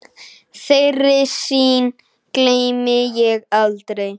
Þeirri sýn gleymi ég aldrei.